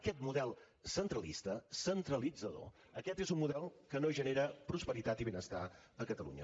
aquest model centralista centralitzador aquest és un model que no genera prosperitat i benestar a catalunya